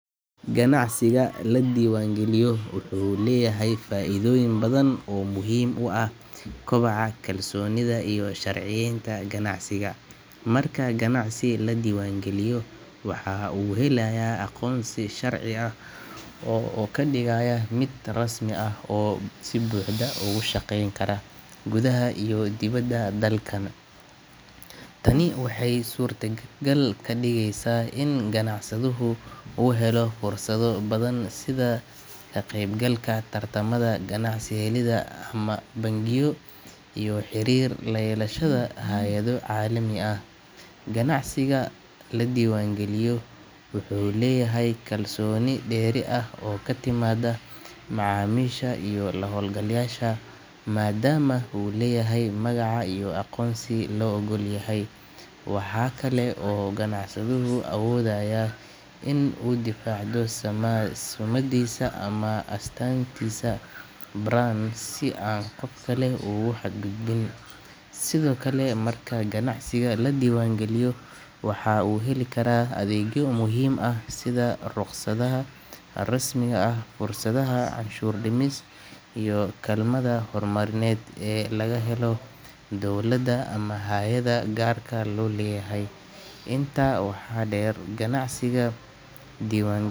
Ganacsiga la diiwaangeliyo wuxuu leeyahay faa’iidooyin badan oo muhiim u ah kobaca, kalsoonida iyo sharciyeynta ganacsiga. Marka ganacsi la diiwaangeliyo, waxaa uu helayaa aqoonsi sharci ah oo ka dhigaya mid rasmi ah oo si buuxda uga shaqeyn kara gudaha iyo dibadda dalka. Tani waxay suurta gal ka dhigaysaa in ganacsaduhu uu helo fursado badan sida ka qaybgalka tartamada ganacsi, helidda amaah bangiyo iyo xiriir la yeelashada hay’ado caalami ah. Ganacsiga la diiwaangeliyo wuxuu leeyahay kalsooni dheeri ah oo ka timaadda macaamiisha iyo la-hawlgalayaasha maadaama uu leeyahay magaca iyo aqoonsi la oggol yahay. Waxaa kale oo uu ganacsaduhu awoodayaa in uu difaacdo summaddiisa ama astaantiisa brand si aan qof kale ugu xadgudbin. Sidoo kale, marka ganacsiga la diiwaangeliyo waxaa uu heli karaa adeegyo muhiim ah sida rukhsadaha rasmiga ah, fursadaha canshuur dhimis iyo kaalmada horumarineed ee laga helo dowladda ama hay’adaha gaarka loo leeyahay. Intaa waxaa dheer, ganacsiga diiwaan.